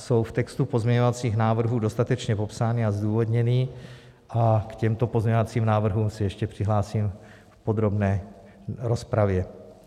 Jsou v textu pozměňovacích návrhů dostatečně popsány a zdůvodněny a k těmto pozměňovacím návrhům se ještě přihlásím v podrobné rozpravě.